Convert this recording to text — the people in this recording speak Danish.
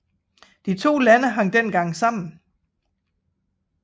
De to lande hang dengang sammen